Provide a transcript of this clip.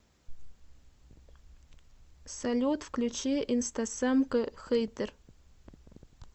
салют включи инстасамка хейтер